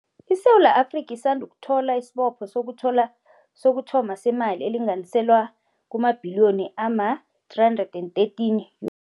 ISewula Afrika isandukuthola isibopho sokuthoma semali elinganiselwa kumabhiliyoni ama-R313